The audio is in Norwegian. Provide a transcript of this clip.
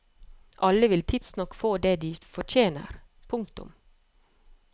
Alle vil tidsnok få det de fortjener. punktum